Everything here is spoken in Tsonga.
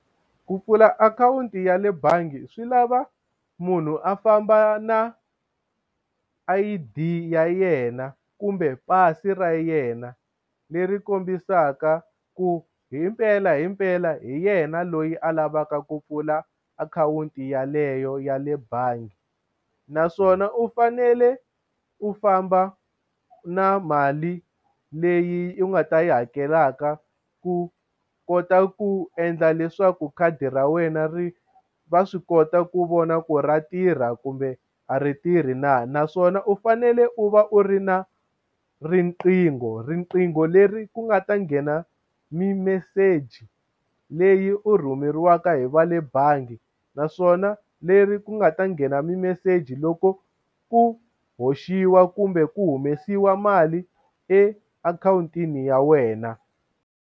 Ku pfula akhawunti ya le bangi swi lava munhu a famba na I_D ya yena kumbe pasi ra yena leri kombisaka ku himpela himpela hi yena loyi a lavaka ku pfula akhawunti yeleyo ya le bangi naswona u fanele u famba na mali leyi u nga ta yi hakelaka ku kota ku endla leswaku khadi ra wena ri va swi kota ku vona ku ra tirha kumbe a ri tirhi na naswona u fanele u va u ri na riqingho riqingho leri ku nga ta nghena mimeseji leyi u rhumeriwaka hi va le bangi naswona leri ku nga ta nghena mimeseji loko ku hoxiwa kumbe ku humesiwa mali e akhawuntini ya wena.